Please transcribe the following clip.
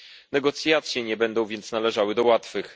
Negocjacje nie będą więc należały do łatwych.